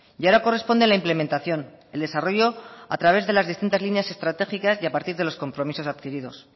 y ahora corresponde la implementación el desarrollo a través de las distintas líneas estratégicas y a partir de los compromisos adquiridos